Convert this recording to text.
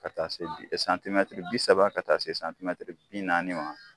Ka taa se santimɛtiri bi saba ka taa se santimɛtiri bi naani ma.